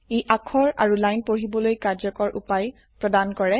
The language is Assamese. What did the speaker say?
ই অাক্ষৰ আৰু লাইন পঢ়িবলৈ কাৰ্যকৰ উপায় প্ৰদান কৰে